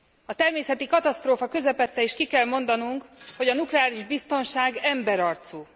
A természeti katasztrófa közepette is ki kell mondanunk, hogy a nukleáris biztonság emberarcú.